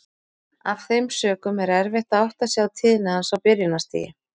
Af þeim sökum er erfitt að átta sig á tíðni hans á byrjunarstigi.